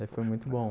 Daí, foi muito bom.